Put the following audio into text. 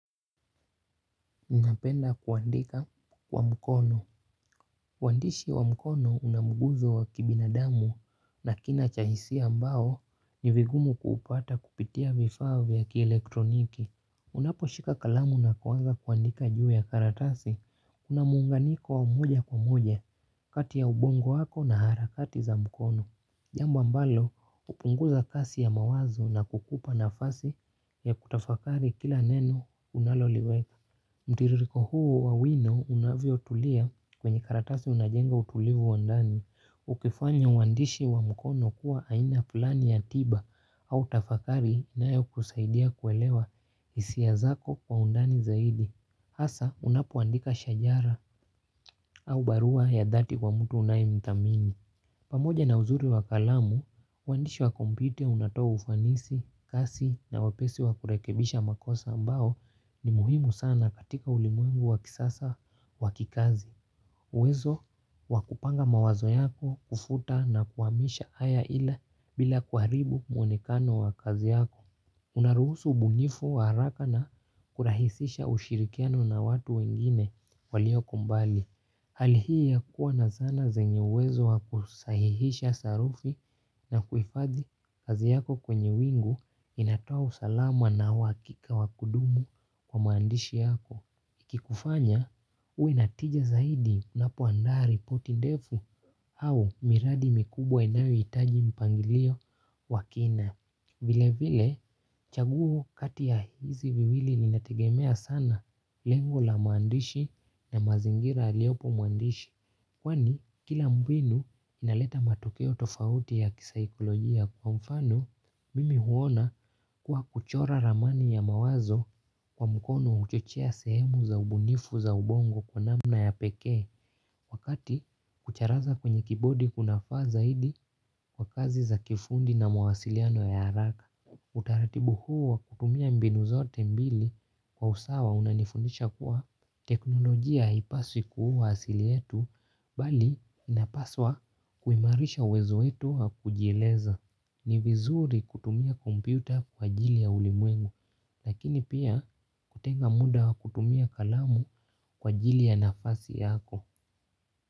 Ninapenda kuandika kwa mkono. Uandishi wa mkono una mguzo wa kibinadamu na kina cha hisia ambao ni vigumu kuupata kupitia vifaa vya kielektroniki. Unaposhika kalamu na kuanza kuandika juu ya karatasi, una munganiko wa moja kwa moja, kati ya ubongo wako na harakati za mkono. Jambo ambalo hupunguza kasi ya mawazo na kukupa nafasi ya kutafakari kila neno unaloliweka. Mtiririko huo wa wino unavyotulia kwenye karatasi unajenga utulivu wa ndani ukifanya uandishi wa mkono kuwa aina fulani ya tiba au tafakari inayokusaidia kuelewa hisia zako kwa undani zaidi. Hasa unapuandika shajara au barua ya dhati kwa mtu unayemthamini. Pamoja na uzuri wa kalamu, uandishi wakompyuta unatoa ufanisi, kasi na wepesi wakurekebisha makosa ambayo ni muhimu sana katika ulimwengu wakisasa wa kikazi. Uwezo wakupanga mawazo yako, kufuta na kuhamisha haya ila bila kuharibu mwonekano wa kazi yako. Unaruhusu ubunifu wa haraka na kurahisisha ushirikiano na watu wengine walio kubali. Halli hii kuwa na zana zenye uwezo wa kusahihisha sarufi na kuifadhi kazi yako kwenye wingu inatoa usalama na uhakika wakudumu kwa maandishi yako. Ikikufanya uwe na tija zaidi unapoandaa ripoti ndefu au miradi mikubwa inayohitaji mpangilio wa kina. Vilevile chaguo kati ya hizi viwili linategemea sana lengo la mwandishi na mazingira aliyopo mwandishi. Kwani kila mbinu inaleta matokeo tofauti ya kisaikolojia kwa mfano, mimi huona kuwa kuchora ramani ya mawazo kwa mkono uchochea sehemu za ubunifu za ubongo kwa namna ya pekee. Wakati kucharaza kwenye kibodi kunafaa zaidi kwa kazi za kifundi na mawasiliano ya haraka. Utaratibu huu wa kutumia mbinu zote mbili kwa usawa unanifundisha kuwa teknolojia ipaswi kuwa asili yetu, bali inapaswa kuhimarisha uwezo wetu wa kujieleza. Ni vizuri kutumia kompyuta kwa ajili ya ulimwengu, lakini pia kutenga muda wa kutumia kalamu kwa ajili ya nafasi yako.